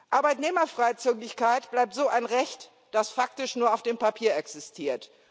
Arbeitnehmerfreizügigkeit bleibt so ein Recht, das faktisch nur auf dem Papier existiert.